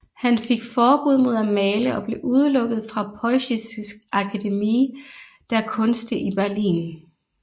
Han fik forbud mod at male og blev udelukket fra Preußische Akademie der Künste i Berlin